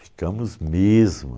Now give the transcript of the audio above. Ficamos mesmo.